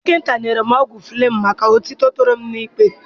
Dọkịta nyere m ọgwụ Fleming maka otito toro m na ikpere